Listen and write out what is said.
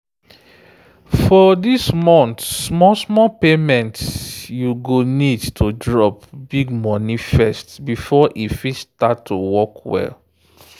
for dis month small-small payment you go need to drop big money first before e fit start to work well.